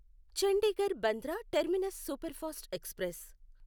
Chandigarh Bandra terminus superfast express